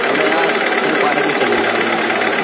अबे यार चल पार्क में चलने या घूमने यार।